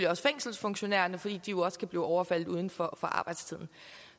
også fængselsfunktionærerne fordi de jo også kan blive overfaldet uden for arbejdstiden